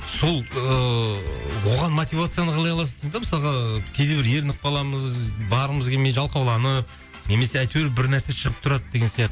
сол ыыы оған мотивацияны қалай аласыз деймін да мысалға кейде бір ерініп қаламыз барғымыз келмей жалқауланып немесе әйтеуір бір нәрсе шығып тұрады деген